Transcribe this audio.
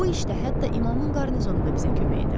Bu işdə hətta imamın qarnizonu da bizə kömək edər.